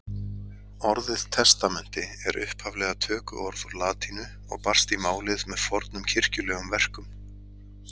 Orðið testamenti er upphaflega tökuorð úr latínu og barst í málið með fornum kirkjulegum verkum.